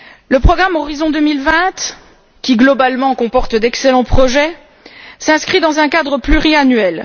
Le programme Horizon 2020, qui globalement comporte d'excellents projets, s'inscrit dans un cadre pluriannuel.